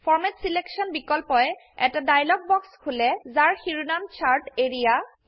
ফৰমাত selection বিকল্পয়ে এটা dialog box খুলেযাৰ শিৰোনাম চাৰ্ট এৰিয়া